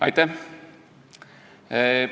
Aitäh!